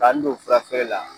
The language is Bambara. Ka n don fura feere la